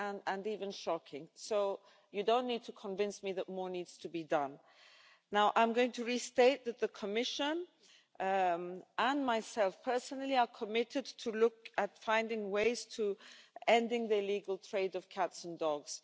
sad and even shocking. So you don't need to convince me that more needs to be done. Now I'm going to restate that the Commission, and myself personally, are committed to look at finding ways to end the illegal trade of cats and dogs.